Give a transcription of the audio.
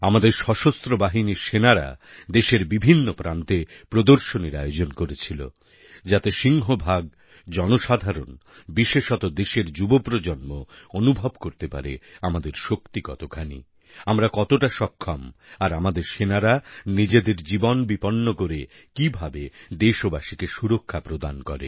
আমাদের সশস্ত্র বাহিনীর সেনারা দেশের বিভিন্ন প্রান্তে প্রদর্শনীর আয়োজন করেছিল যাতে সিংহভাগ জনসাধারণ বিশেষত দেশের যুব প্রজন্ম অনুভব করতে পারে আমাদের শক্তি কতখানি আমরা কতটা সক্ষম আর আমাদের সেনারা নিজেদের জীবন বিপন্ন করে কীভাবে দেশবাসীকে সুরক্ষা প্রদান করে